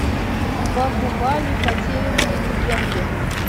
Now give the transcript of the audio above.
бахубали потерянные легенды